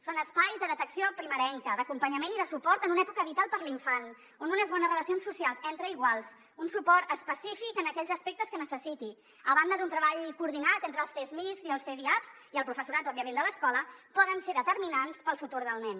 són espais de detecció primerenca d’acompanyament i de suport en un època vital per a l’infant on unes bones relacions socials entre iguals un suport específic en aquells aspectes que necessiti a banda d’un treball coordinat entre els csmijs i cdiaps i el professorat òbviament de l’escola poden ser determinants per al futur del nen